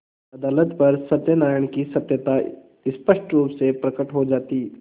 अदालत पर सत्यनारायण की सत्यता स्पष्ट रुप से प्रकट हो जाती